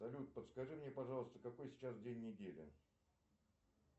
салют подскажи мне пожалуйста какой сейчас день недели